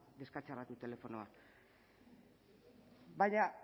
deskatxarratu telefonoa baina